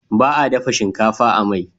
Baa dafa shinkafa a mai